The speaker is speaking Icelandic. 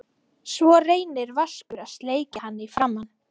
Svo reynir Vaskur að sleikja hann í framan.